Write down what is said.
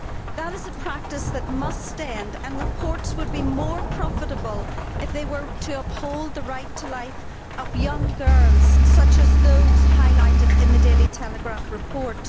That is a practice that must end and reports would be more profitable if they were to uphold the right to life of young girls such as those highlighted in the Daily Telegraph report.